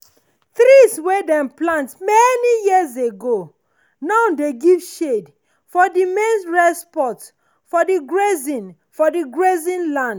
trees wey dem plant many years ago now dey give shade for the main rest spot for the grazing for the grazing land.